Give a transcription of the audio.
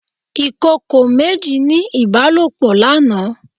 Ìkòkò méjì ní ìbálòpọ̀ lánàá.